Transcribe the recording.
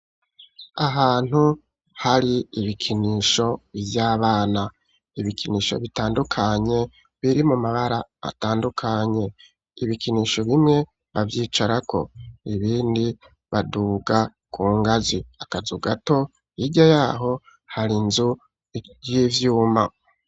Ahantu hari ibikinisho vy' abana. Ibikinisho bitandukanye, biri mu mabara atandukanye. Ibikinisho bimwe bavyicarako, ibindi baduga Ku ngazi. Akazu gato, hirya yaho hari inzu y' ivyuma.